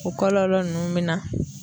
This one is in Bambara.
O kɔlɔlɔ nunnu be na